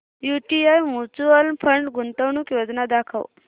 UTI mutual fund गुंतवणूक योजना दाखव